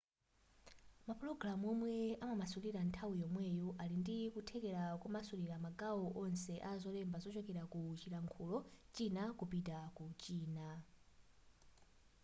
mapulogamu omwe amamasulira nthawi yomweyo ali ndi kuthekera komasulira magawo onse a zolemba kuchokera ku chilankhulo china kupita ku china